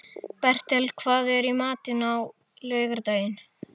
Bertel, hvað er í matinn á laugardaginn?